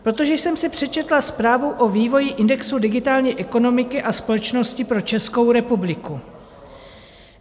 Protože jsem si přečetla zprávu o vývoji indexu digitální ekonomiky a společnosti pro Českou republiku.